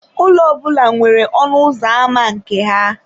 Ụlọ ọ bụla nwere ọnụ ụzọ ámá nke ya.